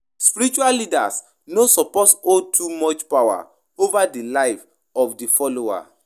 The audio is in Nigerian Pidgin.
Spiritual leaders no suppose hold too much power over di live of di followers.